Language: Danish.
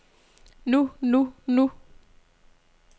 nu nu nu